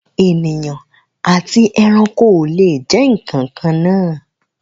Ènìyàn àti ẹranko o le jẹ nkankan naa.